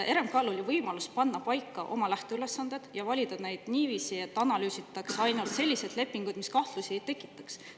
RMK‑l oli võimalus panna paika oma lähteülesanded ja valida neid niiviisi, et analüüsitaks ainult selliseid lepinguid, mis kahtlusi ei tekitaks.